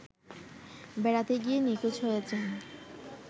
বেড়াতে গিয়ে নিখোঁজ হয়েছেন